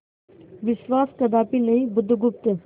विश्वास कदापि नहीं बुधगुप्त